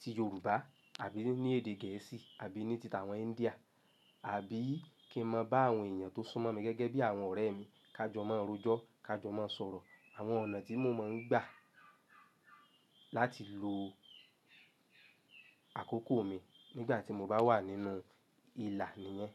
ti Yorùbá àbí ní èdè Gẹ̀ẹ́sì àbí ní ti àwọn India àbí kí n máa bá àwọn èèyàn tó súnmọ́ mi gẹ́gẹ́ bí àwọn ọ̀rẹ́ mi, ká jọ máa ń rojọ́, ká jọ máa ń sọ̀rọ̀. Àwọn ọ̀nà tí mo máa ń gbà láti lo àkókò mi nígbà tí mo bá wà nínú ìlà ni yẹn.